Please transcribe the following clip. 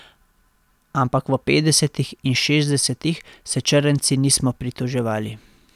Ampak v petdesetih in šestdesetih se črnci nismo pritoževali.